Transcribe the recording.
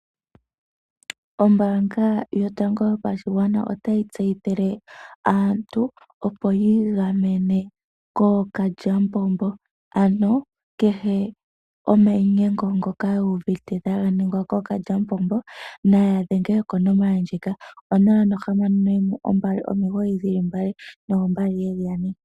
Ombanga yotango yopashingwana otayi tseyithile aantu opo yingamene kokalyapombo, ano kehe omayinyengo ngoka wuvite taganingwa kokalyapombo naya dhengelwa konomola ndjika 0612992222.